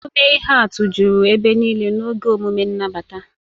Omume ihe atụ juru ebe niile n'oge emume nnabata.